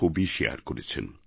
ছবি শেয়ার করেছেন